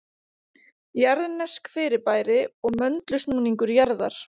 Jarðnesk fyrirbæri og möndulsnúningur jarðar